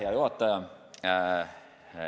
Hea juhataja!